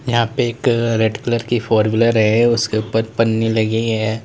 यहां पे एक रेड कलर की फोर व्हीलर है उसके ऊपर पन्नी लगी है।